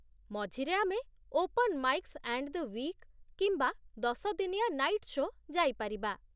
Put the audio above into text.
ମଝିରେ ଆମେ 'open mics and the week' କିମ୍ବା ଦଶ ଦିନିଆ ନାଇଟ୍ ସୋ' ଯାଇପାରିବା।